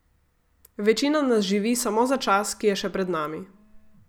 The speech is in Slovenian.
Večina nas živi samo za čas, ki je še pred nami.